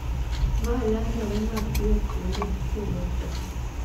ma landore mapiyo kendo kelo tho,